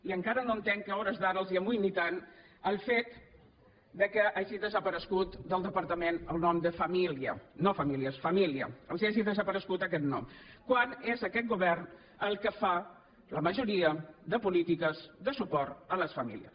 i encara no entenc que a hores d’ara els amoïni tant el fet que hagi desaparegut del departament el nom de família no famílies família els hagi desaparegut aquest nom quan és aquest govern el que fa la majoria de polítiques de suport a les famílies